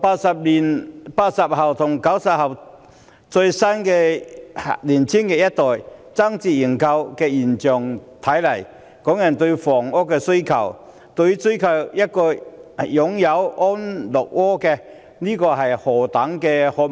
從80後、90後年青一代爭相認購的現象可見，港人對房屋的需求是何等殷切，對於擁有一個安樂窩是何等渴望。